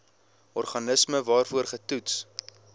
organisme waarvoor getoets